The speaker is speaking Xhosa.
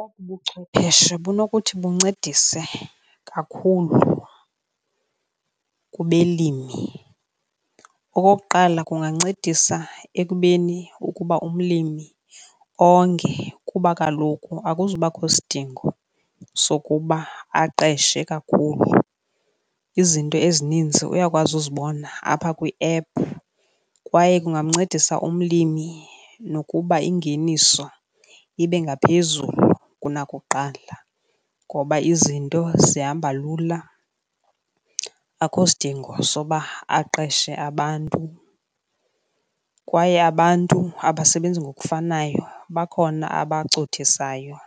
Obu buchwepheshe bunokuthi buncedise kakhulu kubelimi. Okokuqala, kungancedisa ekubeni ukuba umlimi onge kuba kaloku akuzubakho sidingo sokuba aqeshe kakhulu, izinto ezininzi uyakwazi uzibona apha kwiephu. Kwaye kungamncedisa umlimi nokuba ingeniso ibe ngaphezulu kunakuqala ngoba izinto zihamba lula akho sidingo soba aqeshe abantu. Kwaye abantu abasebenzi ngokufanayo bakhona abacothisayo,